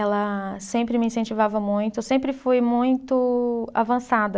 Ela sempre me incentivava muito, eu sempre fui muito avançada.